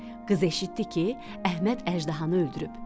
Qız eşitdi ki, Əhməd əjdahanı öldürüb.